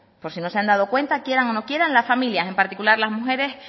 por si no se han dado cuenta quieran o no quieran las familias en particular las mujeres